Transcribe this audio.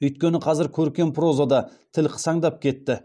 өйткені қазір көркем прозада тіл қысаңдап кетті